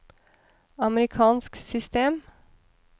amerikansk system